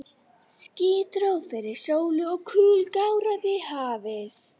Ský dró fyrir sólu og kul gáraði hafið.